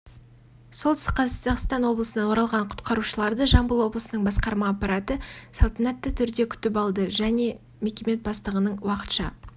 солтүстік қазақстан облысынан оралған құтқарушыларды жамбыл облысының басқарма аппараты салтанатты түрде күтіп алды мекеме бастығының уақытша